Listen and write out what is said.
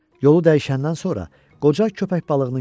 Yolu dəyişəndən sonra qoca köpək balığını gördü.